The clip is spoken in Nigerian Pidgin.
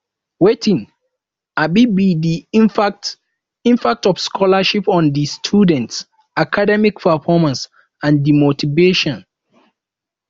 wetin um be di impact impact of scholarship on di students academic performance and di motivation